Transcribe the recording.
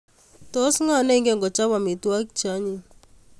Tos ngo ne ingen ko chop amitwogik che anyiny